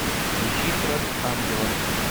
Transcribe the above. ищи кровь ангела